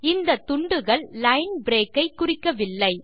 இந்த துண்டுகள் line break ஐ குறிக்கவில்லை